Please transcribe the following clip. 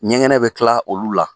Ɲɛgɛnɛ bɛ tila olu la.